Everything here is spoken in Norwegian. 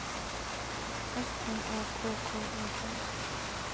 S N A K K E T